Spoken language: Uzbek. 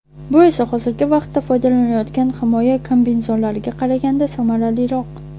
Bu esa hozirgi vaqtda foydalanilayotgan himoya kombinezonlariga qaraganda samaraliroq.